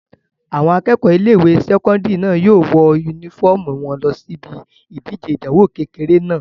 Àwọn akẹ́kọ̀ọ́ ilé-ìwé sẹ́kọ́ndìrì náà yóò wọ yúnífọ́ọ̀mù wọn lọ síbi ìdíje ìdánwò kékeré náà